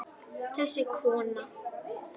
Þessi kona!